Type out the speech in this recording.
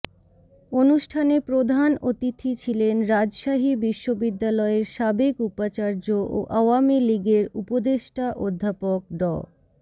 অনুষ্ঠানে প্রধান অতিথি ছিলেন রাজশাহী বিশ্ববিদ্যালয়ের সাবেক উপাচার্য ও আওয়ামী লীগের উপদেষ্টা অধ্যাপক ড